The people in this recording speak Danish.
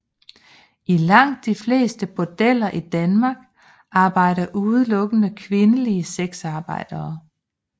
I langt de fleste bordeller i Danmark arbejder udelukkende kvindelige sexarbejdere